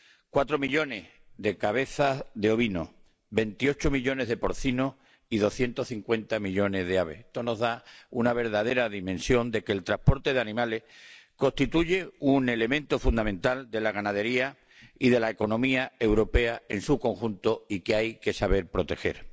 4 millones de cabezas de ovino, 28 millones de porcino y 250 millones de aves. Esto nos da la verdadera dimensión de que el transporte de animales constituye un elemento fundamental de la ganadería y de la economía europea en su conjunto que hay que saber proteger.